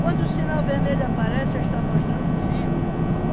Quando o sinal vermelho aparece, está mostrando perigo.